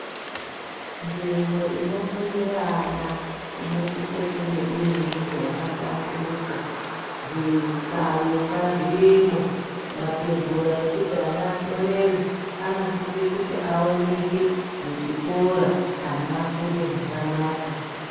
Tsvimbo inofundira ana inosisa kunga iri nzvimbo yakahlamburuka zvihlayo ngazviyemo matebhura ekuti vana vanyorere anosise kuti aoneke muchikora ana afunde zvakanaka